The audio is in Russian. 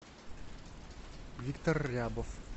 виктор рябов